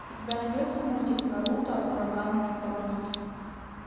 у тебя найдется мультик наруто ураганные хроники